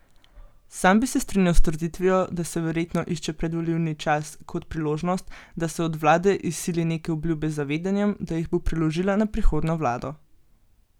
Sam bi se strinjal s trditvijo, da se verjetno išče predvolilni čas kot priložnost, da se od vlade izsili neke obljube z zavedanjem, da jih bo preložila na prihodnjo vlado.